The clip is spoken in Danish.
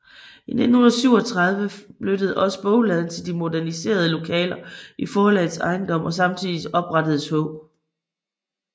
I 1937 flyttede også bogladen til de moderniserede lokaler i forlagets ejendom og samtidig oprettedes H